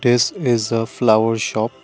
this is a flower shop.